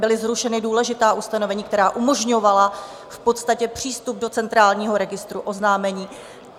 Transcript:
Byla zrušena důležitá ustanovení, která umožňovala v podstatě přístup do Centrálního registru oznámení.